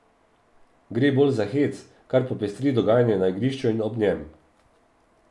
Gre bolj za hec, kar popestri dogajanje na igrišču in ob njem.